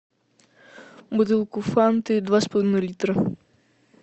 бутылку фанты два с половиной литра